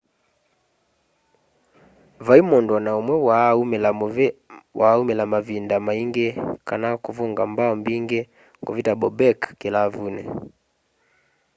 vai mundu o na umwe waa umila mavinda maingi kana kuvunga mbao mbingi kuvita bobek kilavuni